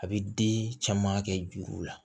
A bɛ den caman kɛ juru la